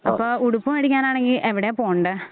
അപ്പോ ഉടുപ്പ് മേടിക്കാനാണെങ്കിൽ എവിടെയാ പോണ്ടേ?